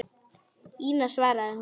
Ína, svaraði hún.